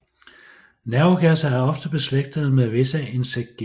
Nervegasser er ofte beslægtede med visse insektgifte